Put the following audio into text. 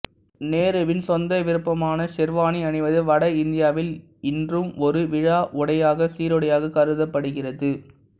நேருவின் சொந்த விருப்பமான ஷெர்வானி அணிவது வட இந்தியாவில் இன்றும் ஒரு விழா உடையாக சீருடையாகக் கருதப்படுகிறது